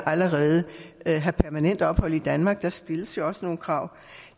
allerede have permanent ophold i danmark der stilles jo også nogle krav